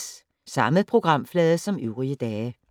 Samme programflade som øvrige dage